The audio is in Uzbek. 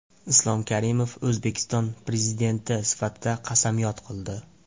Islom Karimov O‘zbekiston Prezidenti sifatida qasamyod qildi.